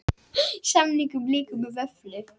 Samningum lýkur með vöfflu